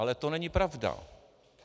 Ale to není pravda.